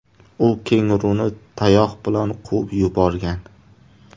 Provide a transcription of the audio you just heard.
U kenguruni tayoq bilan quvib yuborgan.